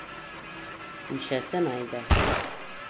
In še se najde.